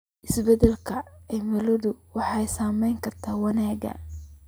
Isbeddelka cimiladu waxay saameyn kartaa wanaagga.